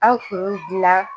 An kun gilan